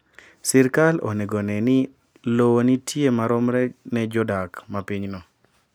Sirkal onego one ni lowo nitie maromre ne jodak ma pinyno.